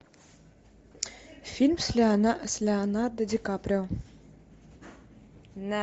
фильм с леонардо ди каприо